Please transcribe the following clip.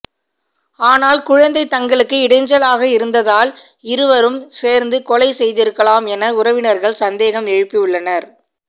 ஆனால் குழந்தை தங்களுக்கு இடைஞ்சலாக இருந்ததால் இருவ்ரும் சேர்ந்து கொலை செய்திருக்கலாம் என உறவினர்கள் சந்தேகம் எழுப்பியுள்ளனர்